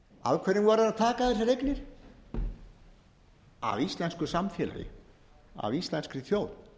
voru þeir að taka þessar eignir af íslensku samfélagi af íslenskri þjóð